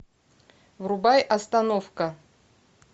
врубай остановка